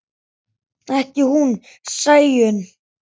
Ekki hún Sæunn.